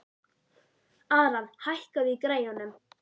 Aran, hækkaðu í græjunum.